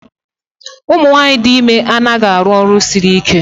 Ụmụ nwanyị dị ime anaghị arụ ọrụ siri ike